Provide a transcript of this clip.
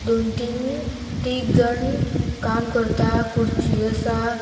दोन तीन तिगजाण काम करता खुर्ची आसा.